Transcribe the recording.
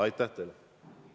Aitäh teile!